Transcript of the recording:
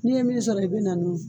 N'i ye min sɔrɔ i bɛ n'a n'o ye.